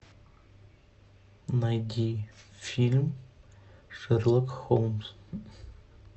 найди фильм шерлок холмс